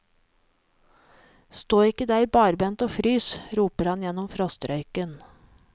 Stå ikke der barbent og frys, roper han gjennom frostrøyken.